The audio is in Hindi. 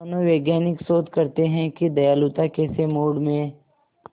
मनोवैज्ञानिक शोध करते हैं कि दयालुता कैसे मूड में